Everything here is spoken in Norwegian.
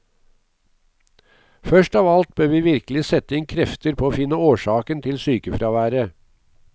Først av alt bør vi virkelig sette inn krefter på å finne årsaken til sykefraværet.